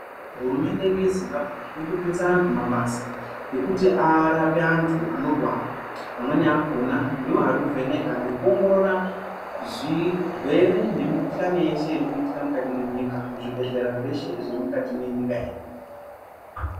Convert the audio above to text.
Hurumende yedu yeZimbabwe iri kupinza anthu mabasa ekuti arape anthu anorwara amweni akona ndiwo arikuvheneka nekuongorora zvirwere nemikuhlani yeshe iri kuitika mukati mwenyika muzvibhedhlera zveshe zviri mukati mwenyika yedu.